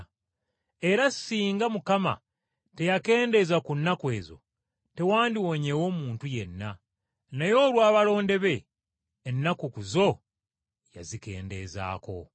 “Era singa Mukama teyakendeeza ku nnaku ezo, tewandiwonyeewo muntu yenna, naye olw’abalonde be, ennaku ezo yazikendeezaako.